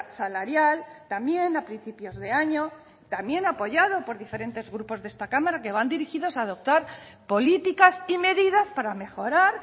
salarial también a principios de año también apoyado por diferentes grupos de esta cámara que van dirigidos a adoptar políticas y medidas para mejorar